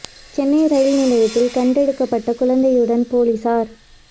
Chennai rail நிலையத்தில் கண்டெடுக்கப்பட்ட குழந்தையுடன் போலிசார்